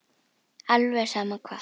Alveg sama hvað.